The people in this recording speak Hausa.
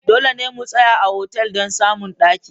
Dole ne mu tsaya a otal don samun daki.